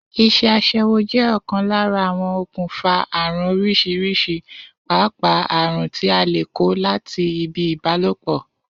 Is̩é̩ as̩é̩wó jé̩ ò̩kan lára awon okùnfà àrùn orís̩irís̩i pàápàá àrùn tí a lè kó láti ibi ìbálòpò̩